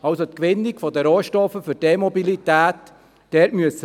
Also müssen wir bei der Gewinnung der Rohstoffe für die E-Mobilität genau hinschauen.